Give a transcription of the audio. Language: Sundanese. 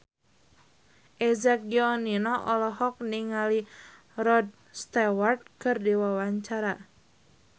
Eza Gionino olohok ningali Rod Stewart keur diwawancara